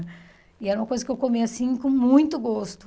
E era uma coisa que eu comia, assim, com muito gosto.